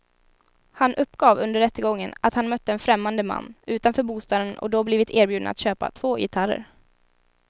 Han uppgav under rättegången att han mött en främmande man utanför bostaden och då blivit erbjuden att köpa två gitarrer.